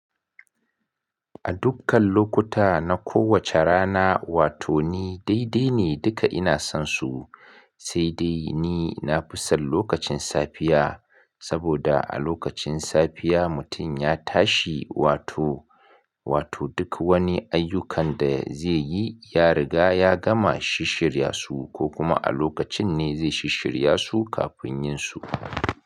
A dukkan lokuta na kowace rana, wato ni daidai ne duka ina son su, sai dai ni na fi son lokacin safiya. Saboda a lokacin safiya mutun ya tashi wato, wato duk wani ayyukan da zai yi ya riga ya gama shis shirya su ko kuma a lokacin ne zai shis shirya su kafin yin su.